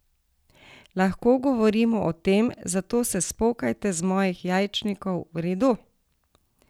Lahko govorimo o tem, zato se spokajte z mojih jajčnikov, v redu?